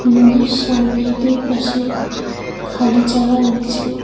নদীর সামনে দুই পাশে খালি জায়গা রয়েছে।